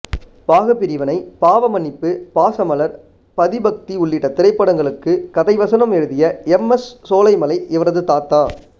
பாகப்பிரிவினை பாவ மன்னிப்பு பாசமலர் பதிபக்தி உள்ளிட்ட திரைப்படங்களுக்கு கதை வசனம் எழுதிய எம் எஸ் சோலைமலை இவரது தாத்தா